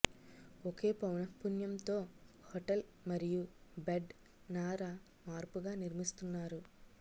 ఒకే పౌనఃపున్యం తో హోటల్ మరియు బెడ్ నార మార్పుగా నిర్మిస్తున్నారు